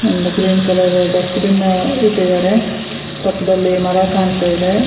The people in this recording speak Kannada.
ಒಂದು ಗ್ರೀನ್ ಕಲರ್ ಡಸ್ಟ್ಬಿನ್ ಆ ಇಟ್ಟಿದಾರೆ ಪಕ್ಕದಲ್ಲಿ ಮರ ಕಾಣ್ತಾ ಇದೆ.